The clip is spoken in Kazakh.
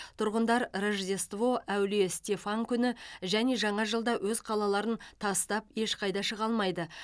тұрғындар рождество әулие стефан күні және жаңа жылда өз қалаларын тастап ешқайда шыға алмайды